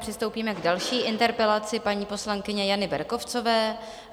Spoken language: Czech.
Přistoupíme k další interpelaci paní poslankyně Jany Berkovcové.